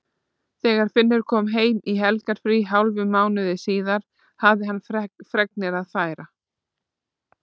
Þegar Finnur kom heim í helgarfrí hálfum mánuði síðar hafði hann fregnir að færa.